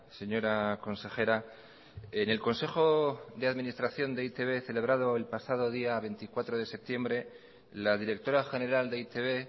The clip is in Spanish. señora consejera en el consejo de administración de e i te be celebrado el pasado día veinticuatro de septiembre la directora general de e i te be